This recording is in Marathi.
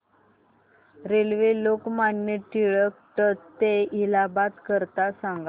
रेल्वे लोकमान्य टिळक ट ते इलाहाबाद करीता सांगा